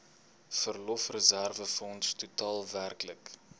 verlofreserwefonds totaal werklik